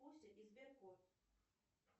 куся и сберкот